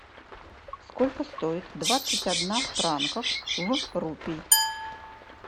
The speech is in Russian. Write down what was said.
сколько стоит двадцать одна франков в рупий